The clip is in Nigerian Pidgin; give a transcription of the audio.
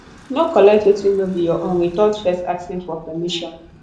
no collect wetin no be your own withot first asking for permission